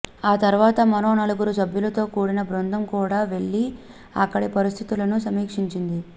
ఆ తర్వాత మరో నలుగురు సభ్యులతో కూడిన బృందం కూడా వెళ్లి అక్కడి పరిస్థితులను సమీక్షించింది